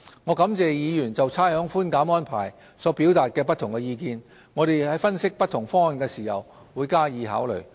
我感謝議員就差餉寬減安排所表達的不同意見，我們在分析不同方案時會加以考慮。